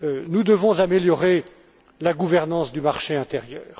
Nous devons améliorer la gouvernance du marché intérieur.